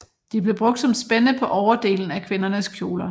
De blev brugt som spænde på overdelen af kvindernes kjoler